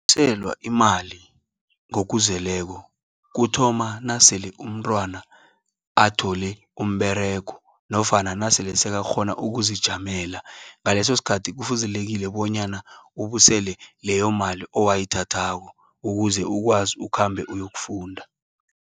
Ukubuyiselwa imali ngokuzeleko, kuthoma nasele umntwana athole umberego. Nofana nasele selakghona ukuzijamela. Ngaleso skhathi kufuzelekile bonyana ubusele leyo mali, owayithathako. Ukuze ukwazi ukhambe uyokufunda.